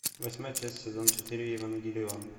восьмая часть сезон четыре евангелион